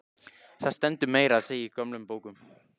Það stendur meira að segja í gömlum bókum.